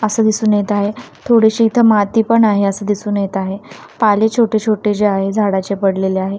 असं दिसून येत आहे थोडीशी इथं माती पण आहे असं दिसून येत आहे पाले छोटे छोटे जे आहे झाडाचे पडलेले आहेत.